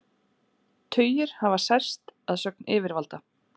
Tugir hafa særst að sögn yfirvalda